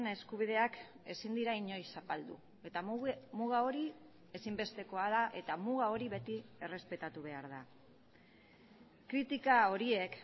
eskubideak ezin dira inoiz zapaldu eta muga hori ezinbestekoa da eta muga hori beti errespetatu behar da kritika horiek